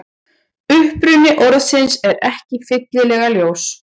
Uppruni orðsins er ekki fyllilega ljós.